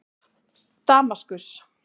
Damaskus